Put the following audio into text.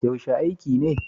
Yaushe aiki ne?